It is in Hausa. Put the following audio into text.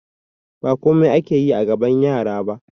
Ba komai ake yi a gaban yara ba